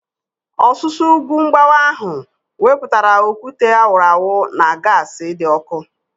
Ọsusu ugwu mgbawa ahu wepụtara okwute a wụrụ awụ na gaasi dị ọkụ